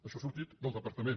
això ha sortit del departament